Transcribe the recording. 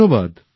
ধন্যবাদ